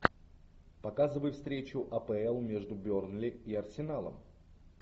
показывай встречу апл между бернли и арсеналом